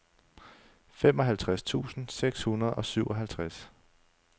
femoghalvtreds tusind seks hundrede og syvoghalvtreds